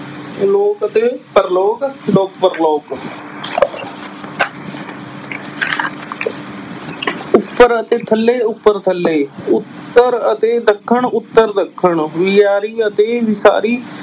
ਲੋਕ ਅਤੇ ਪ੍ਰਲੋਕ ਲੋਕ ਪ੍ਰਲੋਕ ਉੱਪਰ ਅਤੇ ਥੱਲੇ ਉੱਪਰ ਥੱਲੇ, ਉੱਤਰ ਅਤੇ ਦੱਖਣ ਉੱਤਰ ਦੱਖਣ, ਵਿਆਰੀ ਅਤੇ ਵਿਸਾਰੀ